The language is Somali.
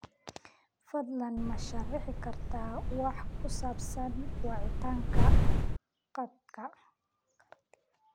fadlan ma sharaxi kartaa wax ku saabsan wacitaanka kartida